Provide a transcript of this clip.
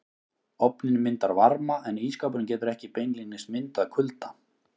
Ofninn myndar varma en ísskápurinn getur ekki beinlínis myndað kulda.